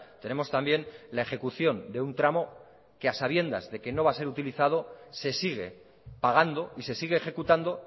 tenemos también la ejecución de un tramo que a sabiendas de que no va a ser utilizado se sigue pagando y se sigue ejecutando